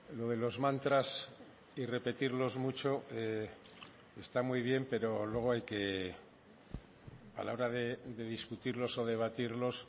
lo de los mantras y repetirlos mucho está muy bien pero luego hay que a la hora de discutirlos o debatirlos